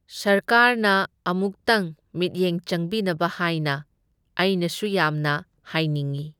ꯁꯔꯀꯥꯔꯅ ꯑꯃꯨꯛꯇꯪ ꯃꯤꯠꯌꯦꯡ ꯆꯪꯕꯤꯅꯕ ꯍꯥꯏꯅ ꯑꯩꯅꯁꯨ ꯌꯥꯝꯅ ꯍꯥꯏꯅꯤꯡꯢ꯫